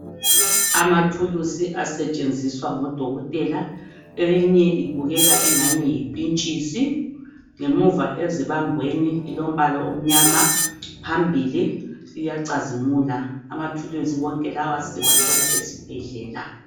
Amathulusi asetshenziswa ngodokotela eyinye ibukeka engani yipintshisi ngemuva ezibambweni ilombala omnyama phambili iyacazimula amathuluzi wonke lawa siwathola esibhedlela.